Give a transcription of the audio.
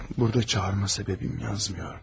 Burda çağırma səbəbim yazmır.